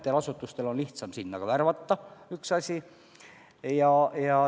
No asutustel on lihtsam sinna inimesi värvata, see on üks asi.